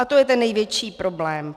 A to je ten největší problém.